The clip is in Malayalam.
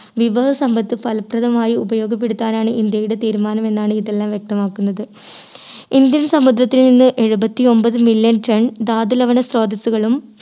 വിഭവ സമ്പത്ത് ഫലപ്രദമായി ഉപയോഗപ്പെടുത്താനാണ് ഇന്ത്യയുടെ തീരുമാനമെന്നാണ് ഇതെല്ലാം വ്യക്തമാക്കുന്നത്. ഇന്ത്യൻ സമുദ്രത്തിൽ നിന്ന് എഴുപത്തി ഒൻപത് million ton ധാതു ലവണ സ്രോതസ്സുകളും